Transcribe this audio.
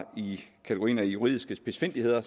i kategorien juridiske spidsfindigheder